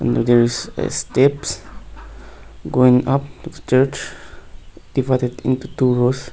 there is a steps going up the church divided into two rows.